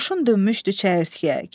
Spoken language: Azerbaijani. Qoşun dönmüşdü çəyirtkəyə.